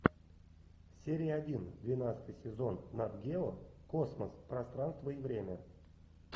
серия один двенадцатый сезон нат гео космос пространство и время